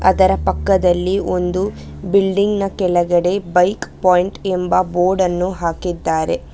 ಅದರ ಪಕ್ಕದಲ್ಲಿ ಒಂದು ಬಿಲ್ಡಿಂಗ್ ನ ಕೆಳಗಡೆ ಬೈಕ್ ಪಾಯಿಂಟ್ ಎಂಬ ಬೋರ್ಡ್ ಅನ್ನು ಹಾಕಿದ್ದಾರೆ.